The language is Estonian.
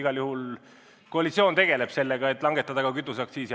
Igal juhul koalitsioon tegeleb sellega, et langetada ka kütuseaktsiisi.